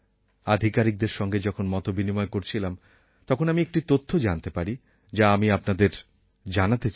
আধিকারিকদের সঙ্গে যখন মত বিনিময় করছিলাম তখন আমি একটি তথ্য জানতে পারি যা আমি আপনাদের জানাতে চাই